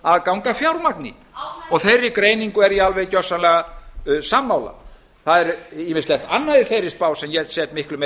aðgang að fjármagni og þeirri greiningu er ég alveg gjörsamlega sammála það er ýmislegt annað í þeirri spá sem ég set miklu meiri